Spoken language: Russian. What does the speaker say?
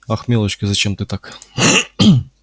ах милочка зачем ты так